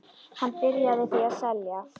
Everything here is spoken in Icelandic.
Hann byrjaði því að selja.